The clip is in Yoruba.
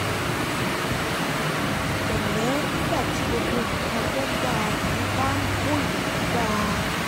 pẹ̀lẹ́ nígbà tí gbogbo nǹkan tó ń bá a rìn bá ń kó ìdààmú bá a